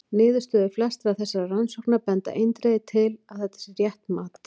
Niðurstöður flestra þessara rannsókna benda eindregið til að þetta sé rétt mat.